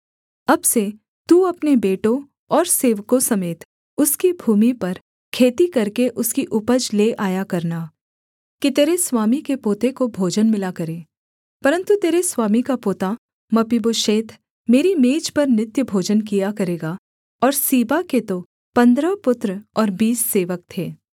अब से तू अपने बेटों और सेवकों समेत उसकी भूमि पर खेती करके उसकी उपज ले आया करना कि तेरे स्वामी के पोते को भोजन मिला करे परन्तु तेरे स्वामी का पोता मपीबोशेत मेरी मेज पर नित्य भोजन किया करेगा और सीबा के तो पन्द्रह पुत्र और बीस सेवक थे